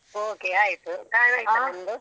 Okay ಆಯ್ತು ಚ ಎಲ್ಲ ಆಯ್ತಾ ನಿಮ್ದು.